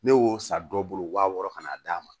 Ne y'o san dɔ bolo wa wɔɔrɔ kan'a d'a ma